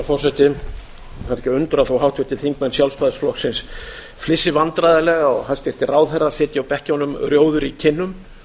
er ekki að undra þó háttvirtir þingmenn sjálfstæðisflokksins flissi vandræðalega og hæstvirtir ráðherrar sitji á bekkjunum rjóðir í kinnum